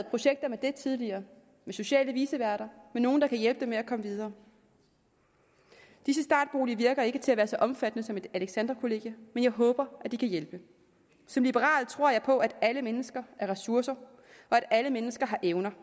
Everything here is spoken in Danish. projekter med det tidligere med sociale viceværter med nogle der kan hjælpe dem med at komme videre disse startboliger virker ikke til at være så omfattende som alexandrakollegiet men jeg håber at de kan hjælpe som liberal tror jeg på at alle mennesker har ressourcer og at alle mennesker har evner